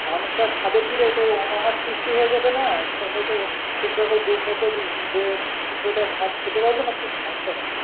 মানুষরা খাবে কি রে তা অনাহার সৃষ্টি হয়ে যাবে না সবাইতো ঠিকমতো দু দুপেটা ভাত খেতে পাবে না তো বাচ্চারা